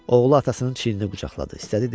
Oğlu atasının çiynini qucaqladı.